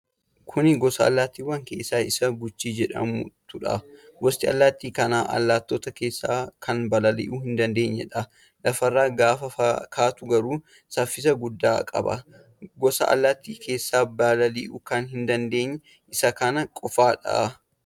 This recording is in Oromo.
Kuni gosa allaattiwwanii keessaa isa Guchii jedhamtuudha. Gosti allaatti kanaa allaattota keessa kan balali'uu hin dandeenyedha. Lafarra gaafa kaatu garuu saffisa guddaa qaba. Gosa Allaattii keessaa balali'uu kan hin dandeenye isa kana qofaadha.